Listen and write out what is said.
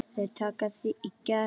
Þeir taka þig í gegn!